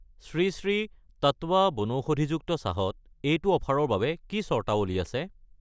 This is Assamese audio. শ্ৰী শ্ৰী টাট্টাৱা বনৌষধিযুক্ত চাহ ত এইটো অফাৰৰ বাবে কি চৰ্তাৱলী আছে?